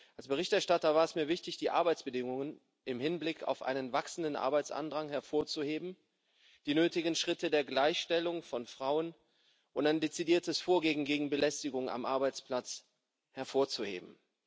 Als Berichterstatter war es mir wichtig, die Arbeitsbedingungen im Hinblick auf ein wachsendes Arbeitsaufkommen hervorzuheben, die nötigen Schritte der Gleichstellung von Frauen und ein dezidiertes Vorgehen gegen Belästigung am Arbeitsplatz hervorzuheben.